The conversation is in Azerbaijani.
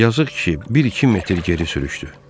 Yazıq ki, bir-iki metr geri sürüşdü.